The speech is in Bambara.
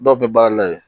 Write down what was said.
Dɔw bɛ baara la yen